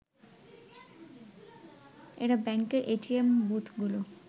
এরা ব্যাংকের এটিএম বুথগুলো